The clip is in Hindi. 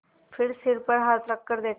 फिर सिर पर हाथ रखकर देखा